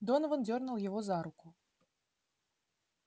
донован дёрнул его за руку